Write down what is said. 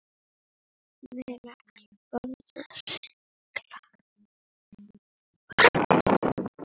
Ég vil ekki borða snigla.